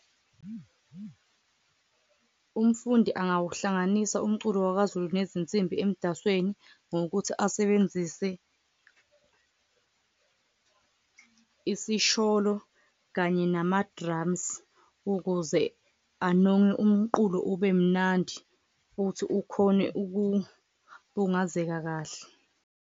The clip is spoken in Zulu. Umfundi angawuhlanganisa umculo wakwaZulu nezinsimbi emdasweni ngokuthi asebenzise isisholo kanye nama-drums, ukuze anonge umqulo ube mnandi futhi ukhone ukubungazeka kahle.